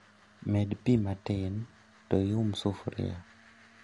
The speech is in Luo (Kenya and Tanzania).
Med pii matin to ium sufria